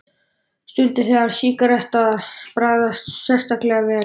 Stundir, þegar sígaretta bragðast sérstaklega vel.